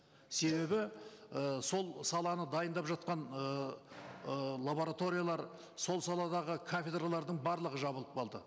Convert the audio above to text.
себебі ы сол саланы дайындап жатқан ыыы лабораториялар сол саладағы кафедралардың барлығы жабылып қалды